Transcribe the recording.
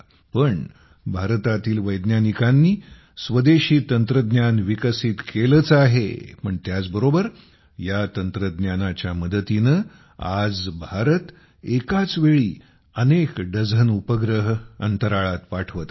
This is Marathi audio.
पण भारतातील वैज्ञानिकांनी स्वदेशी तंत्रज्ञान विकसित केलेच आहे पण त्याच बरोबर या तंत्रज्ञानाच्या मदतीने आज भारत एकाच वेळी अनेक डझन उपग्रह अंतराळात पाठवत आहे